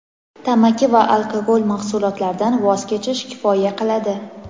tamaki va alkogol mahsulotlaridan voz kechish kifoya qiladi.